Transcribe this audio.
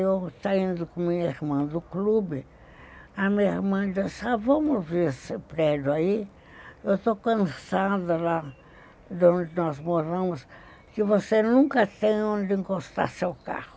Eu saindo com a minha irmã do clube, a minha irmã disse assim, vamos ver esse prédio aí, eu estou cansada lá de onde nós moramos, que você nunca tem onde encostar seu carro.